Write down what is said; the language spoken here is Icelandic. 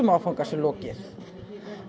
áfanga sé lokið